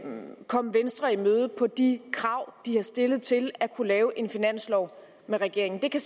komme venstre i møde på de krav de har stillet til at lave en finanslov med regeringen det kan